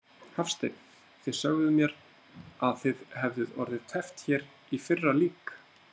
Hafsteinn: Þið sögðuð mér að þið hefðuð orðið teppt hér í fyrra lík?